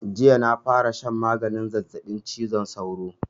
Jiya na fara shan maganin zazzaɓin cizon sauro